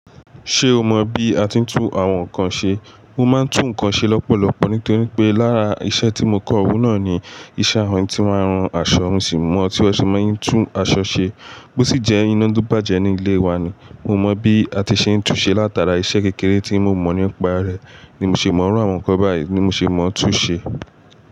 Ṣé o mọ bí a ti ń tun àwọn nǹkan ṣe? Mo máa ń tun nkan ṣe lọ́pọ̀lọpọ̀ nítorí pé lára iṣẹ́ tí mo kọ ohun náà ni iṣẹ́ awon to máa ń ran aṣọ. Mo si mọ̀ tí wọ́n ṣe máa ń tun aṣọ ṣe, bó sì jẹ́ iná lo bàjẹ́ ní ilé wa ni. Mo mọ bí a ti ṣe ń tun ṣe látara iṣẹ́ kékeré tí mo mọ̀ nípa rẹ̀ ni mo ṣe mọ̀ iru àwọn nǹkan báyìí ni mo ṣe mọ̀ tun ṣe.